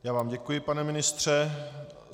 Já vám děkuji, pane ministře.